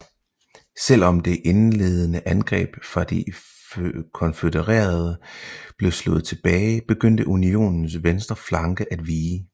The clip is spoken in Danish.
Selv om det indledende angreb fra de konfødererede blev slået tilbage begyndte Unionens venstre flanke at vige